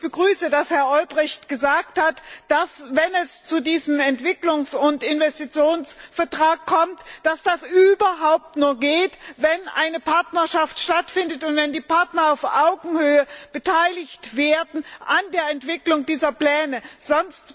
Und ich begrüße, dass Herr Olbrycht gesagt hat, dass, wenn es zu diesem Entwicklungs und Investitionsvertrag kommt, das überhaupt nur geht, wenn eine Partnerschaft stattfindet und wenn die Partner auf Augenhöhe an der Entwicklung dieser Pläne beteiligt werden.